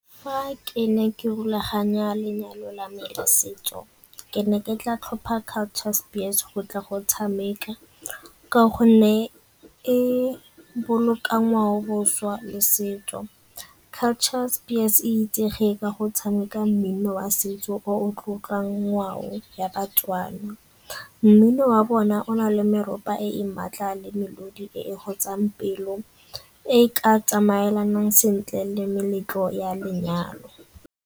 Fa ke ne ke rulaganya lenyalo la me setso ke ne ke tla tlhopha ka Culture Spears go tla go tshameka ka gonne e boloka ngwaoboswa le setso. Culture Spears e itsege ka go tshameka mmino wa setso o tlotlang ngwao ya baTswana, mmino wa bona o na le meropa e e maatla le melodi e e gotsang pelo e e ka tsamaelanang sentle le meletlo ya lenyalo.